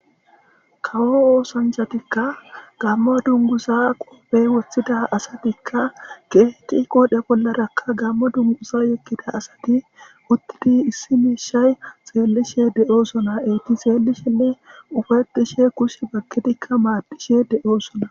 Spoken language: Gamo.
kawo oosanjatikka gammo dungusa qoobey woththida asatikka geeqi qoodhe bollarakka gammo dungusa yekkida asati uttidi issi meeshay xeellishe de7o sona eyti seelishenne ufatishe kush bagkidikka maadishe de7o sona